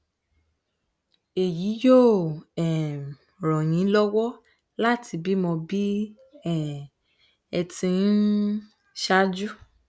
èyí yóò um ràn yín lọwọ láti bímọ bí um ẹ ti um ṣáájú